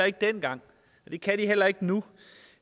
ikke dengang og det kan de heller ikke nu